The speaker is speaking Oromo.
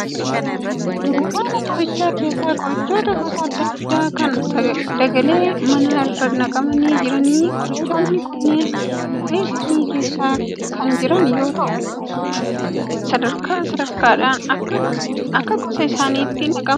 Dunkaana qorichaa keessa qorichoota gosa adda addaa kan dagalee manaa irra naqamanii jiraniidha. Qorichootni kunneen qabee isaanii keessa kan jiran yoo ya'u sadarkaa sadarkaadhaan akka akka gosa isaaniitti naqamanii jiru.